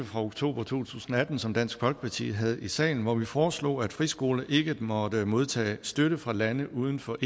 fra oktober to tusind og atten som dansk folkeparti havde i salen hvor vi foreslog at friskoler ikke måtte modtage støtte fra lande uden for